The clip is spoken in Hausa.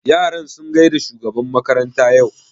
Yaran sun gaida shugaban makaranta yau?